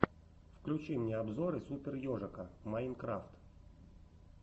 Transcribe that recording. включи мне обзоры супер ежика майнкрафт